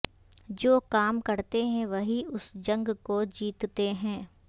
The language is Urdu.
جو کام کرتے ہیں وہی اس جنگ کو جیتتے ہیں